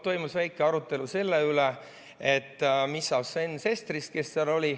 Toimus väike arutelu selle üle, mis saab Sven Sesterist, kes seal oli.